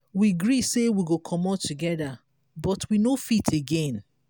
we gree say we go comot together but we no fit again.